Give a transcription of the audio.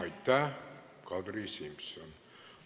Aitäh, Kadri Simson!